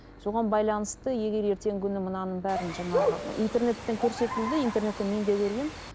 соған байланысты егер ертеңгі күні мынаның бәрін жаңағы интернеттен көрсетілді интернеттен мен де көргенмін